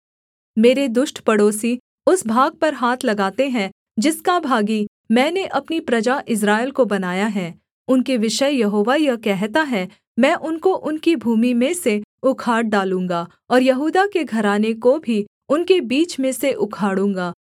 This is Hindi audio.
मेरे दुष्ट पड़ोसी उस भाग पर हाथ लगाते हैं जिसका भागी मैंने अपनी प्रजा इस्राएल को बनाया है उनके विषय यहोवा यह कहता है मैं उनको उनकी भूमि में से उखाड़ डालूँगा और यहूदा के घराने को भी उनके बीच में से उखाड़ूँगा